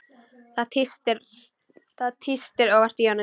Það tístir óvart í honum.